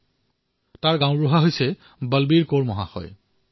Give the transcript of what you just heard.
সেই পঞ্চায়তৰ মুৰব্বী হল বলবীৰ কৌৰজী